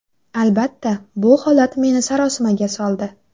Albatta, bu holat meni sarosimaga soldi.